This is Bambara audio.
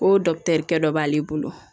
O kɛ dɔ b'ale bolo